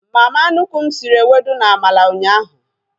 Mama nnukwu m sịrị ewedu na amala ụnyaahụ